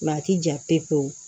a ti jan pewu